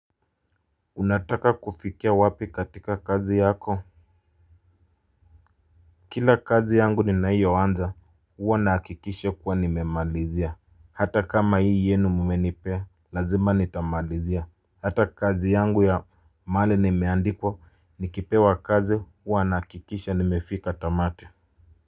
Unataka kufikia wapi katika kazi yako. Kila kazi yangu ninayo anza huwa nahakikisha kuwa nimemalizia. Hata kama hii yenu mmenipea lazima nitamalizia. Hata kazi yangu ya mahali nimeandikwa nikipewa kazi huwa nahakikisha nimefika tamati.